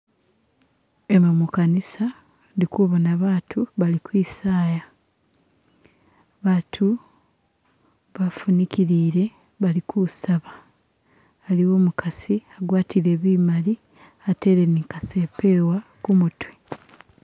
Emu mukanisa ndikubona batu bali kwisaya batu bafunikilile bali kusaba haliwo umukasi a gwatile bimali atele ni kasepewa kumutwe